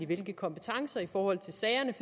hvilke kompetencer i forhold til sagerne